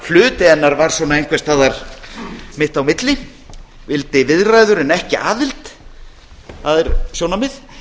hluti hennar var einhvers staðar mitt á milli vildi viðræður en ekki aðild það er sjónarmið